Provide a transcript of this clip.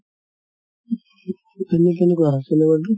এনে কেনেকুৱা cinema তো?